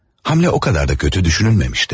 Həmlə o qədər də kötü düşünülməmişdi.